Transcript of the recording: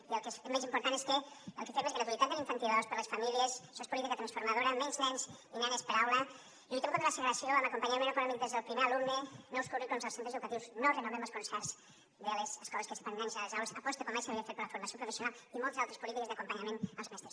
i el que és més important és que el que fem és gratuïtat de l’infantil dos per a les famílies això és política transformadora menys nens i nenes per aula lluitem contra la segregació amb acompanyament econòmic des del primer alumne nous currículums als centres educatius no renovem els concerts de les escoles que separen nens i nenes a les aules aposta com mai s’havia fet per la formació professional i moltes altres polítiques d’acompanyament als mestres